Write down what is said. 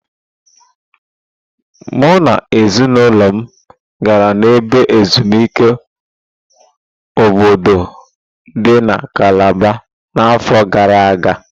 Mụ na ezinụlọ m gara n'ebe ezumike Obudu dị na kalaba na afọ gara aga.